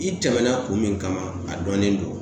I tɛmɛna kun min kama a dɔnnen don .